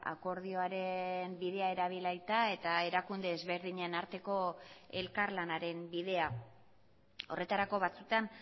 akordioaren bidea erabilita eta erakunde ezberdinen arteko elkarlanaren bidea horretarako batzutan